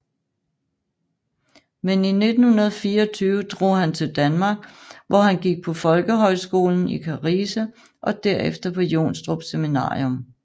Men i 1924 drog han til Danmark hvor han gik på folkehøjskolen i Karise og derefter på Jonstrup Seminarium